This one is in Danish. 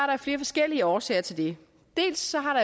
der flere forskellige årsager til det dels har